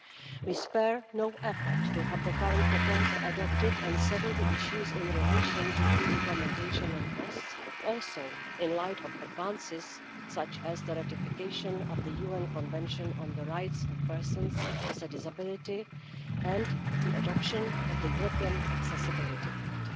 We will spare no effort to have the current proposal adopted and settle the issues in relation to its implementation and costs, in light of advances such as the ratification of the UN Convention on the Rights of Persons with a Disability and the adoption of the European Accessibility Act.